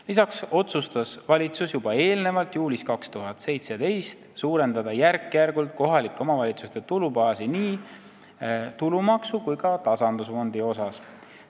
Lisaks otsustas valitsus juba eelnevalt, juulis 2017, et järk-järgult tuleb suurendada kohalike omavalitsuste tulubaasi nii tulumaksu kui ka tasandusfondi poolest.